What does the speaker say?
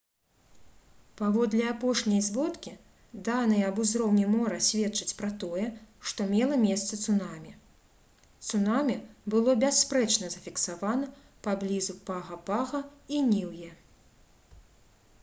паводле апошняй зводкі даныя аб узроўні мора сведчаць пра тое што мела месца цунамі цунамі было бясспрэчна зафіксавана паблізу пага-пага і ніўе